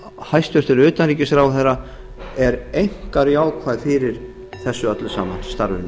hæstvirts utanríkisráðherra er einkar jákvæð fyrir þessu öllu saman starfinu